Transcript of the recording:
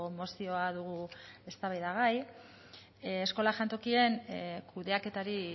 mozioa dugu eztabaidagai eskola jantokien kudeaketari